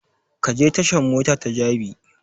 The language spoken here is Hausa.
Ka je tashan mota ta jabi!